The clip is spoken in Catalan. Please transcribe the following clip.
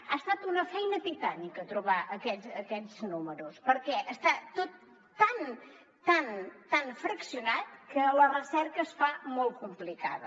ha estat una feina titànica trobar aquests números perquè està tot tan tan tan fraccionat que la recerca es fa molt complicada